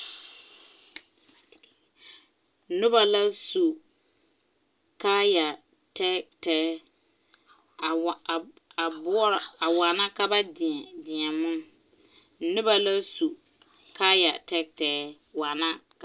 Noba la su kaaya tɛɛtɛɛ a wa a a boɔra a waana ka ba deɛ deɛmo noba la su kaaya tɛɛtɛɛ waana ka.